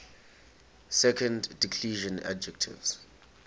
second declension adjectives